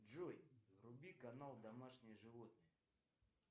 джой вруби канал домашние животные